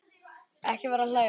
Ekki vera að hlæja svona.